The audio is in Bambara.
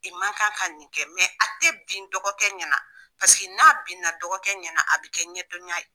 I man kan ka nin kɛ a tɛ bin dɔgɔkɛ ɲɛna pase n'a binna dɔgɔkɛ ɲɛna a bɛ kɛ ɲɛdɔnya ye.